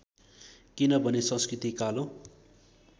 किनभने संस्कृति कालो